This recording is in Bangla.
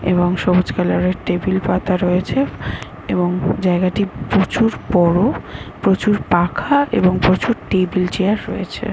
এবং সবুজ কালার - এর টেবিল পাতা রয়েছে এবং জায়গাটি প্রচুর বড়প্রচুর পাখা এবং প্রচুর টেবিল চেয়ার রয়েছে ।